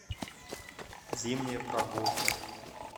зимняя прогулка